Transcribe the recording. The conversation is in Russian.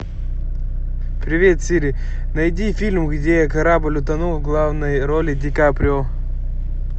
привет сири найди фильм где корабль утонул в главной роли ди каприо